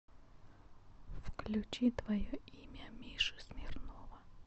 включи твое имя миши смирнова